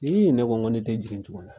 Ii ne ko ŋo ne te jigin tugun .